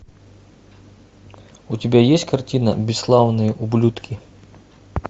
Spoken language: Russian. у тебя есть картина бесславные ублюдки